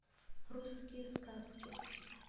русские сказки